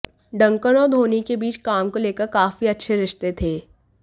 Duncan और धोनी के बीच काम को लेकर काफी अच्छे रिश्ते थे